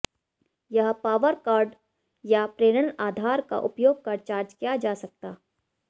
यह power cord या प्रेरण आधार का उपयोग कर चार्ज किया जा सकता